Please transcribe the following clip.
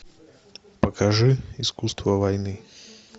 покажи искусство войны